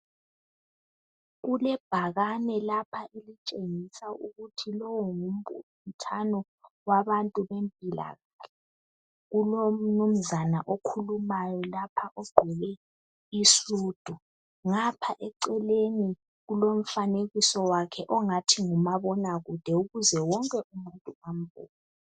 Kulebhakani lapha elitshengisa ukuthi lo ngumbuthano wabantu bempilakahle Kulomnuzane okhulumayo lapha ogqoke isudu. Ngapha eceleni kulomfanekiso wakhe ongathi ngumabona kude ukuze wonke umuntu ambone